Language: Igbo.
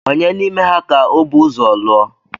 Ònye n’ime ha ka ọ bu ụzọ lụọ?